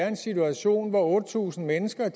en situation hvor otte tusind mennesker